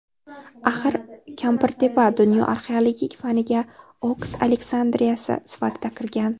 Axir Kampirtepa dunyo arxeologik faniga Oks Aleksandriyasi sifatida kirgan.